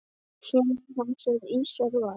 Sonur hans er Ísar Valur.